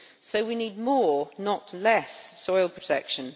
So we need more, not less, soil protection.